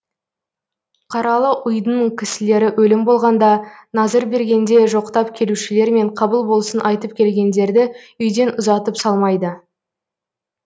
қаралы ұйдың кісілері өлім болғанда назыр бергенде жоқтап келушілер мен қабыл болсын айтып келгендерді үйден ұзатып салмайды